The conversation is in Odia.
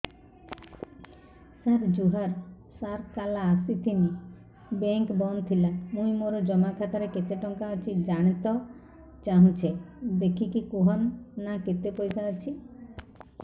ସାର ଜୁହାର ସାର କାଲ ଆସିଥିନି ବେଙ୍କ ବନ୍ଦ ଥିଲା ମୁଇଁ ମୋର ଜମା ଖାତାରେ କେତେ ଟଙ୍କା ଅଛି ଜାଣତେ ଚାହୁଁଛେ ଦେଖିକି କହୁନ ନା କେତ ପଇସା ଅଛି